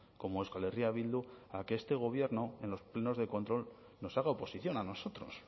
como euskal herria bildu a que este gobierno en los plenos de control nos haga oposición a nosotros